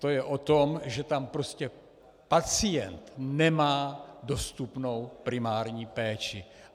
To je o tom, že tam prostě pacient nemá dostupnou primární péči.